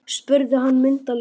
Þetta var í byrjun desember.